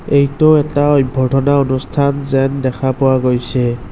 এইটো এটা অভ্যৰ্থনা অনুষ্ঠান যেন দেখা পোৱা গৈছে।